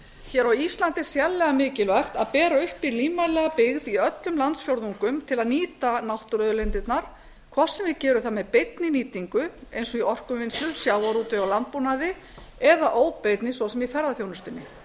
hér á íslandi er sérlega mikilvægt að bera uppi lífvænlega byggð í öllum landsfjórðungum til að nýta náttúruauðlindirnar hvort sem við gerum það með beinni nýtingu eins og í orkuvinnslu sjávarútvegi og landbúnaði eða óbeinni svo sem í ferðaþjónustunni